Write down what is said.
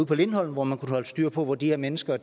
på lindholm hvor man kunne holde styr på hvor de her mennesker